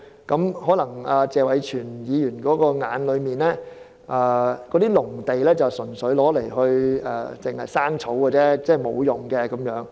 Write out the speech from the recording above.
或許在謝偉銓議員的眼中，閒置農地純粹滋養雜草，沒有用處。